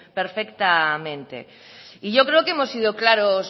perfectamente yo creo que hemos sido claros